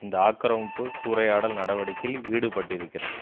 இந்த ஆக்கிரமிப்பு சூறையாடல் நடவடிக்கையில் ஈடுபட்டிருக்கிறது